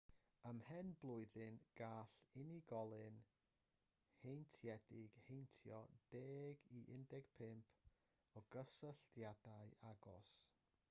ymhen blwyddyn gall unigolyn heintiedig heintio 10 i 15 o gysylltiadau agos